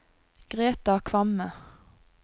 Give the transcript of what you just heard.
Greta Kvamme